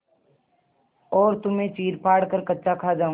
और तुम्हें चीरफाड़ कर कच्चा खा जाऊँगा